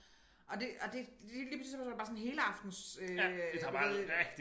Og det og det det lige pludselig så der bare sådan helaftens øh du ved